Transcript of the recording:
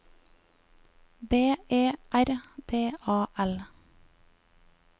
B E R D A L